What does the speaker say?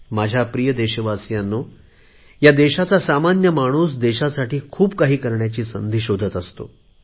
माझ्या प्रिय देशवासीयांनो ह्या देशाचा सामान्य माणूस देशासाठी खूप काही करण्याची संधी शोधतो